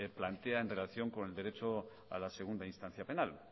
plantea en relación con el derecho a la segunda instancia penal